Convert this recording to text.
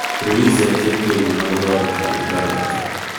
Ruiz ekĩte ũguo na gũthondeka rĩtwa rĩake